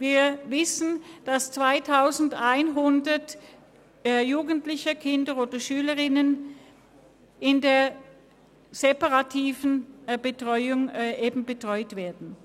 Wir wissen, dass 2100 Jugendliche, Kinder oder Schülerinnen und Schüler in der separaten Betreuung betreut werden.